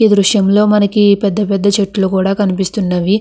ఈ దృశయము లో మనకి పెద్ద పెద్ద చెట్లు కూడా కనిస్తున్నవి.